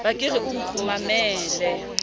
ba ke re o nkgumamele